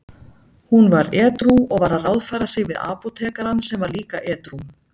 Hún var edrú og var að ráðfæra sig við apótekarann sem var líka edrú.